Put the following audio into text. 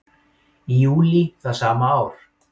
Í júlí það sama ár